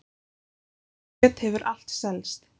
Það kjöt hefur allt selst